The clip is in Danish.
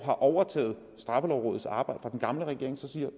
overtager straffelovrådets arbejde fra den gamle regering og siger